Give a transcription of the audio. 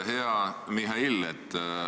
Hea Mihhail!